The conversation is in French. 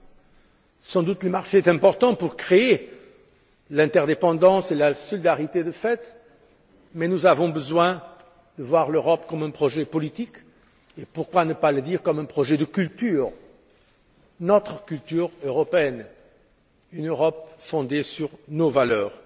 Le marché est, sans doute, important pour créer l'interdépendance et la solidarité de fait mais nous avons besoin de voir l'Europe comme un projet politique et pourquoi ne pas le dire comme un projet de culture, notre culture européenne, une Europe fondée sur nos valeurs!